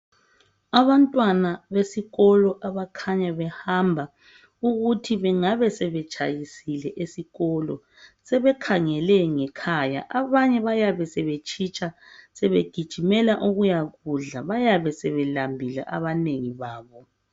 Abantwana besikolo abakhanya behamba ukuthi bengabe sebetshayisile esikolo. Sebekhangele ngekhaya abanye bayabe sebetshitsha sebegijimela ukuyakudla. Bayabe sebelambile abanengi babo.